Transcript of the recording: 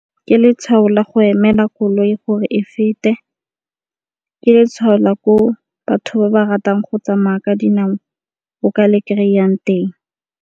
Ke letshwao la go emela koloi gore e fete, ke letshwao la ko batho ba ba ratang go tsamaya ka dinao o ka le kry-ang teng.